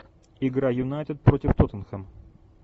игра юнайтед против тоттенхэм